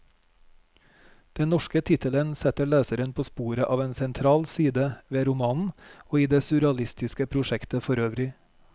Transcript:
Den norske tittelen setter leseren på sporet av en sentral side ved romanen, og i det surrealistiske prosjektet forøvrig.